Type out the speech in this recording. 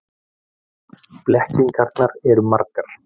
Blekkingarnar eru margar.